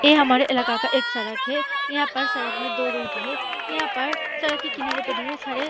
ये हमारे इलाका का एक सड़क है यहां पर सड़क मे दो रूट है यहां पर सड़क के किनारे पर ढेर सारे --